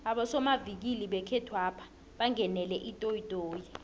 abosomavikili bangekhethwapha bangenele itoyitoyi